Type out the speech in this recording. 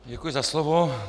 Děkuji za slovo.